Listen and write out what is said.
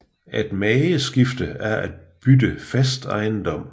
At mageskifte er at bytte fast ejendom